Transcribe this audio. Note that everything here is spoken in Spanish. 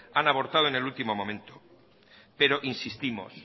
han abortado en el último momento pero insistimos